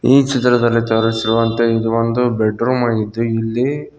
ಈ ಚಿತ್ರದಲ್ಲಿ ತೋರಿಸುವಂತೆ ಒಂದು ಬೆಡ್ರೂಮ್ ಆಗಿದ್ದು ಇಲ್ಲಿ--